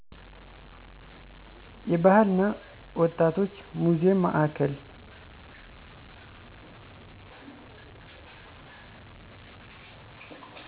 የባህል እና ወጣቶች ሙዜም ማዕከል